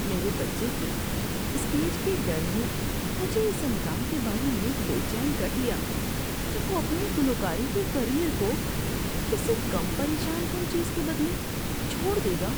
میرے بچے کے اسٹیج کے ڈر نے مجھے اس امکان کے بارے میں بے چین کر دیا کہ وہ اپنے گلوکاری کے کیریئر کو کسی کم پریشان کن چیز کے بدلے چھوڑ دے گا۔